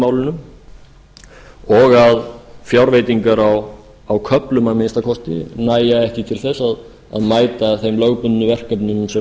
málunum og að fjárveitingar á köflum að minnsta kosti nægja ekki til að mæta þeim lögbundnu verkefnum sem